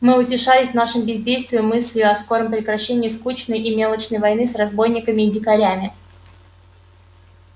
мы утешались в нашем бездействии мыслию о скором прекращении скучной и мелочной войны с разбойниками и дикарями